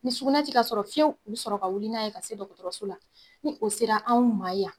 Ni sugunɛ te ka sɔrɔ fiyewu,b u be sɔrɔ ka wuli n'a ye ka se dɔgɔtɔrɔso la. Ni o sera anw ma yan